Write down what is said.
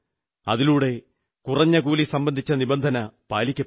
അതിലൂടെ കുറഞ്ഞകൂലി സംബന്ധിച്ച നിബന്ധന പാലിക്കപ്പെടും